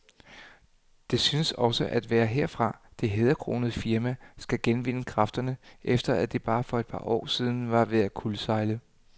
Det synes også at være herfra, det hæderkronede firma skal genvinde kræfterne, efter at det for bare et par år siden var ved at kuldsejle.